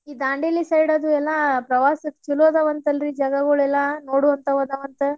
ಈ ದಾಂಡೇಲಿ side ಅದು ಎಲ್ಲ ಪ್ರವಾಸಾಕ್ ಚಲೋ ಅದಾವಂತಲ್ರಿ ಜಾಗಗಳೆಲ್ಲಾ ನೋಡುವಂತಾವ ಅದಾವಂತ.